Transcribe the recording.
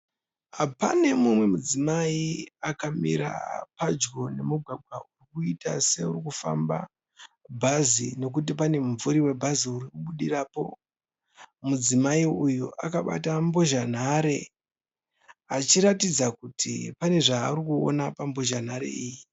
Pane mumwe mudzimai akamira padyo nemugwagwa urikuita seuri kufamba bhazi. Nokuti pane mumvuri webhazi uri kubudirapo. Mudzimai uyu akabata mbozha nhare achiratidza kuti pane zvaari kuona pambozha nhare iyi.